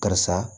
Karisa